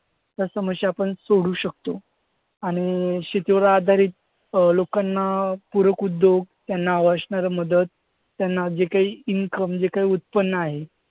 त्या समस्या आपण सोडवू शकतो आणि शेतीवर आधारित अं लोकांना पूरक उद्योग, त्यांना हवी असणारी मदत, त्यांना जे काही income म्हणजे जे काही उत्पन्न आहे,